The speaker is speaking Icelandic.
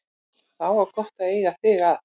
Þá var gott að eiga þig að.